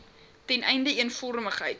ten einde eenvormigheid